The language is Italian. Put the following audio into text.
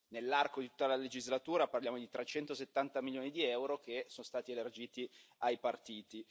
Nell'arco di tutta la legislatura parliamo di 370 milioni di euro che sono stati elargiti ai partiti.